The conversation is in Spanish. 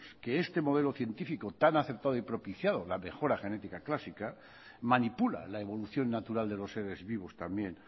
que este modelo científico tan acertado y propiciado la mejora genética clásica manipula la evolución natural de los seres vivos también